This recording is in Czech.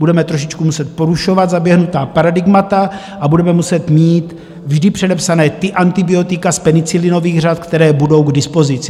Budeme trošičku muset porušovat zaběhnutá paradigmata a budeme muset mít vždy předepsaná ta antibiotika z penicilinových řad, která budou k dispozici.